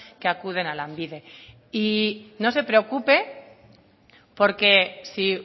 que acuden a lanbide y no se preocupe porque si